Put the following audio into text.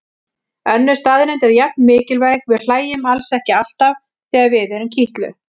Önnur staðreynd er jafn mikilvæg: Við hlæjum alls ekki alltaf þegar við erum kitluð.